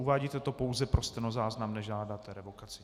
Uvádíte to pouze pro stenozáznam, nežádáte revokaci.